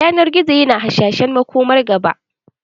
Yanar gizo yana hasashen makomar gaba.